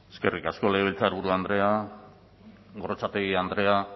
eskerrik asko legebiltzarburu andrea gorrotxategi andrea